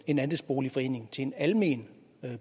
en andelsboligforening til en almen